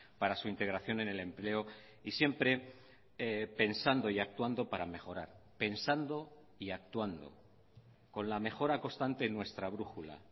para su integración en el empleo y siempre pensando y actuando para mejorar pensando y actuando con la mejora constante en nuestra brújula